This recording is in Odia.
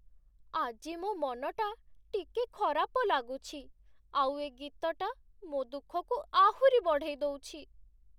ଆଜି ମୋ ମନଟା ଟିକେ ଖରାପ ଲାଗୁଛି ଆଉ ଏ ଗୀତଟା ମୋ' ଦୁଃଖକୁ ଆହୁରି ବଢ଼େଇ ଦଉଛି ।